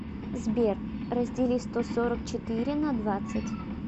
сбер раздели сто сорок четыре на двадцать